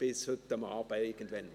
Bis heute Abend irgendwann.